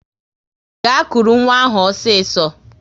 Gaa kụrụ nwa ahụ osiso!